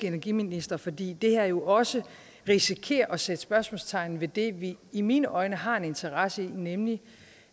energiministre fordi det her jo også risikerer at sætte spørgsmålstegn ved det vi i mine øjne har en interesse i nemlig